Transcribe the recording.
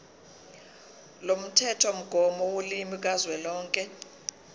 lomthethomgomo wolimi kazwelonke